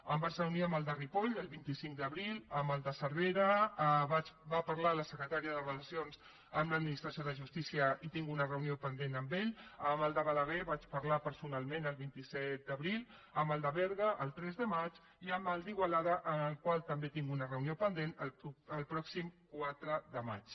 em vaig reunir amb el de ripoll el vint cinc d’abril amb el de cervera hi va parlar la secretària de relacions amb l’administració de justícia i tinc una reunió pendent amb ell amb el de balaguer hi vaig parlar personalment el vint set d’abril amb el de berga el tres de maig i amb el d’igualada amb el qual també tinc una reunió pendent el pròxim quatre de maig